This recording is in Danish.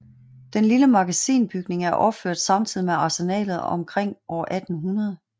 Den lille magasinbygning er opført samtidig med Arsenalet omkring år 1800